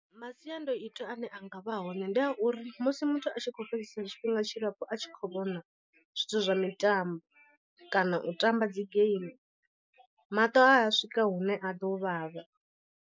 Masiandoitwa ane a nga vha hone ndi a uri musi muthu a tshi khou fhedzesa tshifhinga tshilapfu a tshi khou vhona zwithu zwa mitambo, kana u tamba dzi game maṱo a swika hune a ḓo vhavha.